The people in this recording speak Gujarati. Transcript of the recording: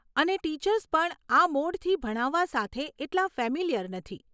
અને ટીચર્સ પણ આ મોડથી ભણાવવા સાથે એટલા ફેમિલિયર નથી.